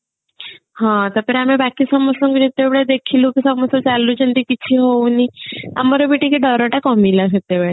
ହଁ ତାପରେ ଆମେ ବାକି ସମସ୍ତଙ୍କୁ ଯେତେବେଳେ ଦେଖିଲେ କି ସମସ୍ତେ ଚାଲୁଛନ୍ତି କିଛି ହଉନି ଆମର ବି ଟିକେ ଡରଟା କମିଲା ସେତେବେଳେ